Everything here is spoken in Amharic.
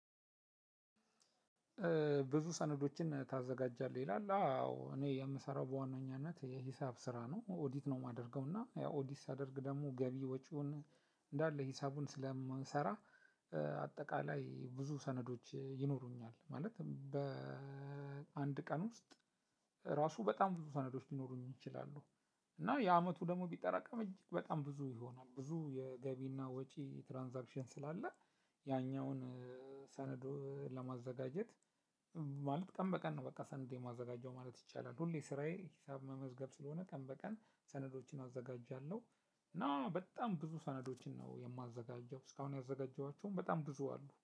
ብዙ ሰነዶችን ታዘጋጃለህ ይላል? አዎ እኔ የምሰራው በዋነኛነት የሂሳብ ስራ ነው ኦዲት ነው የማደርገው እና ያው ኦዲት ሳደርግ ደግሞ ገቢ ወጪውን እንዳለ ሂሳቡን ስለምሰራ። አጠቃላይ ብዙ ሰነዶች ይኖሩኛል ማለት በአንድ ቀን ውስጥ ራሱ በጣም ብዙ ሰነዶች ሊኖሩኝ ይችላሉ። እና የአመቱ ደግሞ ቢጠራቀም እጅግ በጣም ብዙ ይሆናል ብዙ የገቢና ወጪ ትራንዛክሽን ስላለ። ያኛውን ሰነድ ለማዘጋጀት ማለት ቀን በቀን ነው ሰነድ የማዘጋጀው ማለት ይቻላል። ሁሌ ስራየ ሂሳብ መመዝገብ ሰለሆነ ቀን በቀን ሰነዶችን አዘጋጃለሁ። እና በጣም ብዙ ሰነዶችን ነው የማዘጋጀው እስካሁን ያዘጋጀኋቸውም በጣም ብዙ አሉ